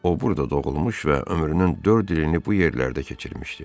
O burda doğulmuş və ömrünün dörd ilini bu yerlərdə keçirmişdi.